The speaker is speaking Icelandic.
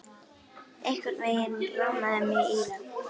Einhvern veginn rámaði mig í það